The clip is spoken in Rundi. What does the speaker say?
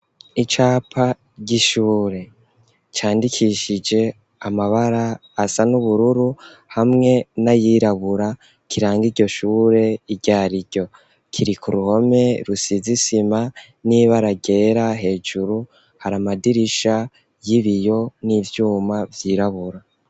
Icapa ry'ishure, candikishije amabara, asa n'ubururu, hamwe n'ayirabura, kiranga iryo shure, iryo ari ryo; kiri ku ruhome, rusize isima n'ibara ryera; hejuru hari amadirisha y'ibiyo, n'ivyuma vyirabura.